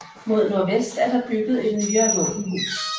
Mod nordvest er der bygget et nyere våbenhus